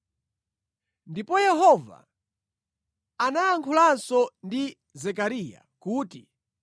Ndipo Yehova anayankhulanso ndi Zekariya kuti,